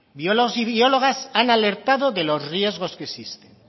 biólogos y biólogas han alertado de los riesgos que existen